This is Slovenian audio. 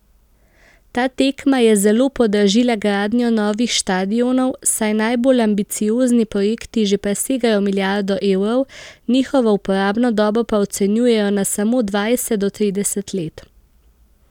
Ta tekma je zelo podražila gradnjo novih štadionov, saj najbolj ambiciozni projekti že presegajo milijardo evrov, njihovo uporabno dobo pa ocenjujejo na samo dvajset do trideset let.